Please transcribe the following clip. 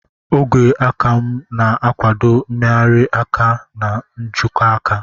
Ogwe aka na-akwado mmegharị aka na nkwojiaka.